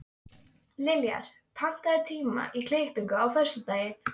Liljar, pantaðu tíma í klippingu á föstudaginn.